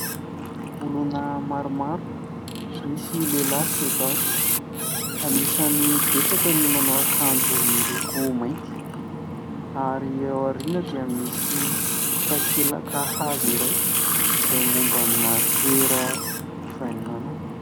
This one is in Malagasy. Olona maromaro, misy lehilahy sy vehivavy. Anisany betsaka ny manao akanjo miloko mainty ary eo aoriana dia misy takelaka hazo iray izay mombana toera- mpivahinianana.